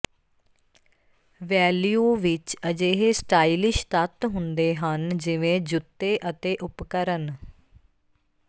value ਵਿੱਚ ਅਜਿਹੇ stylish ਤੱਤ ਹੁੰਦੇ ਹਨ ਜਿਵੇਂ ਜੁੱਤੇ ਅਤੇ ਉਪਕਰਣ